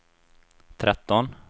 tretton